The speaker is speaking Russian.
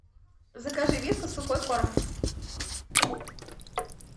закажи вискас сухой корм